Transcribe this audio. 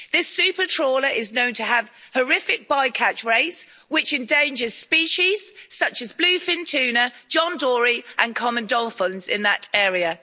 This supertrawler is known to have horrific bycatch rates which endanger species such as bluefin tuna, John Dory and common dolphins in that area.